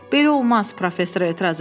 Belə olmaz, professor etiraz elədi.